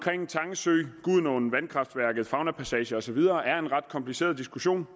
tange sø gudenåen vandkraftværket faunapassagerne og så videre er en ret kompliceret diskussion